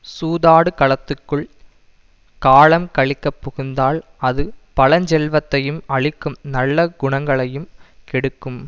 சூதாடு களத்துக்குள் காலம் கழிக்கப் புகுந்தால் அது பழஞ்செல்வத்தையும் அழிக்கும் நல்ல குணங்களையும் கெடுக்கும்